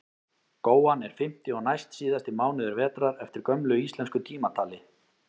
góan er fimmti og næstsíðasti mánuður vetrar eftir gömlu íslensku tímatali